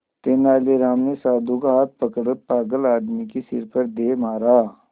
तेनालीराम ने साधु का हाथ पकड़कर पागल आदमी के सिर पर दे मारा